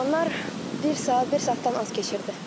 Qalanlar bir saat, bir saatdan az keçirdi.